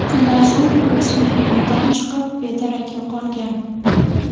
Shundan so‘ng buvisining uyidan chiqib, bedarak yo‘qolgan.